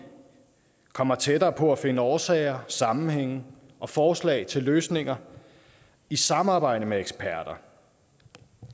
kommer tættere på at finde årsager sammenhænge og forslag til løsninger i samarbejde med eksperter og